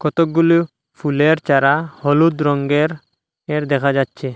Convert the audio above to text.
কতগুলো ফুলের চারা হলুদ রঙ্গের এর দেখা যাচ্ছে।